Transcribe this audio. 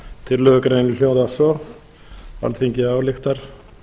tillögugreinin hljóðar svo alþingi ályktar